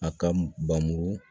A ka bamu